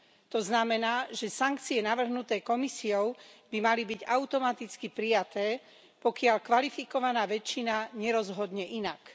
To znamená, že sankcie navrhnuté Komisiou by mali byť automaticky prijaté, pokiaľ kvalifikovaná väčšina nerozhodne inak.